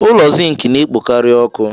Ụlọ Zink na-ekpokarị ọkụ.